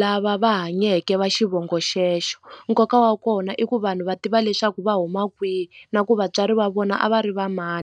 lava va hanyeke va xivongo xexo nkoka wa kona i ku vanhu va tiva leswaku va huma kwihi na ku vatswari va vona a va ri va mani.